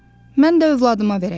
Mən də övladıma verəcəm.